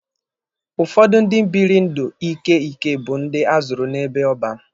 Ụfọdụ ndị bịrị ndụ ike ike bụ ndị azụrụ n'ebe ọban.